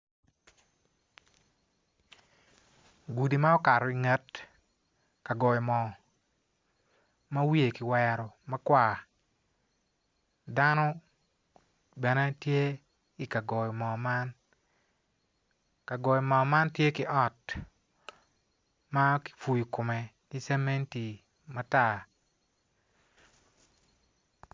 Gudi maokato onget ka goyo moo ma wiye kiwero makwar dano bene tye i kagoyo mo man kagoyo moo man tye ki ot ma kipuyu kome ki cemeti matar